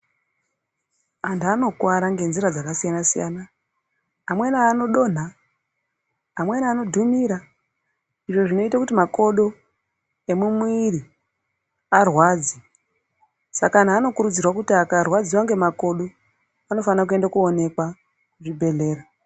Antu anokwara ngenzira dzakasiyana siyana amweni anodonha amweni anodhumira izvo zvinoite kuti makodo emumwiri arwadze saka anhu anokurudzirwa kuti akarwadziwa nemakodo anofane kuenda koonekwa kuzvibhedhlera.